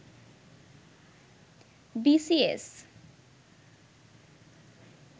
B C S